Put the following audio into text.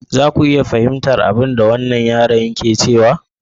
Za ka iya fahimtar abinda wannan yaron yake cewa?